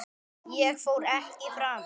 Ég fór ekki fram.